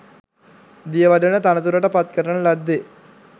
දියවඩන තනතුරට පත් කරන ලද්දේ